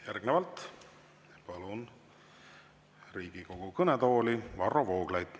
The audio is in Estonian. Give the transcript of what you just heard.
Järgnevalt palun Riigikogu kõnetooli Varro Vooglaiu.